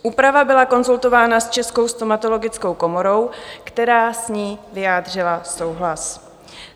Úprava byla konzultována s Českou stomatologickou komorou, která s ní vyjádřila souhlas.